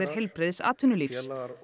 heilbrigðs atvinnulífs